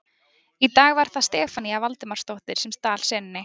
Í dag var það Stefanía Valdimarsdóttir sem stal senunni.